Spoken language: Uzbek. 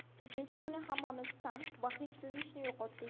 Uchinchi kuni hammamiz ta’m va hid sezishni yo‘qotdik.